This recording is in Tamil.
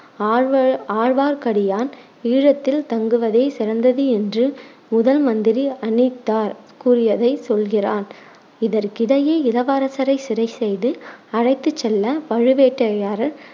ஆழ்வ~ ஆழ்வார்க்கடியான் ஈழத்தில் தங்குவதே சிறந்தது என்று முதல் மந்திரி அநித்தர் கூறியதை சொல்கிறான். இதற்கிடையே இளவரசரை சிறைசெய்து அழைத்து செல்ல பழுவேட்டரையர்